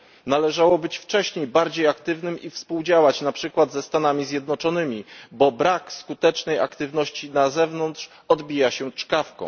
Należało być wcześniej bardziej aktywnym i współdziałać, na przykład ze Stanami Zjednoczonymi, bo brak skutecznej aktywności na zewnątrz odbija się czkawką.